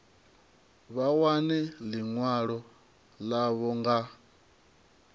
vha wane ḽiṅwalo ḽavho nga